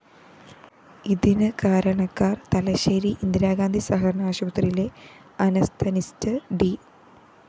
ഇതിന് കാരണക്കാര്‍ തലശ്ശേരി ഇന്ദിരാഗാന്ധി സഹകരണ ആശുപത്രിയിലെ അനസ്തനിസ്റ്റ് ഡി